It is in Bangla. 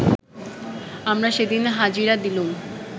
আমরা সেদিন হাজিরা দিলুম